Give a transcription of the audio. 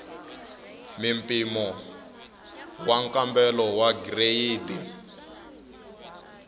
mimpimo wa nkambelo wa gireyidi